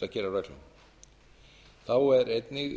reglunum þá er einnig